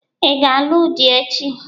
Ị ga-alụ di echi?